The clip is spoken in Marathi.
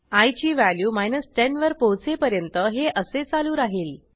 आय ची व्हॅल्यू 10 वर पोहोचेपर्यंत हे असे चालू राहिल